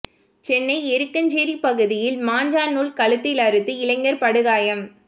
சென்னை எருக்கஞ்சேரி பகுதியில் மாஞ்சா நூல் கழுத்தில் அறுத்து இளைஞர் படுகாயம்